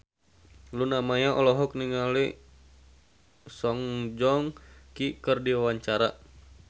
Luna Maya olohok ningali Song Joong Ki keur diwawancara